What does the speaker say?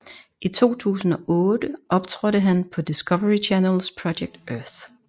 I 2008 optrådte han på Discovery Channels Project Earth